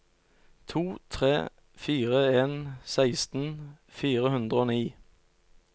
to tre fire en seksten fire hundre og ni